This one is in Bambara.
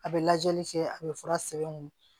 A bɛ lajɛli kɛ a bɛ fura sɛbɛn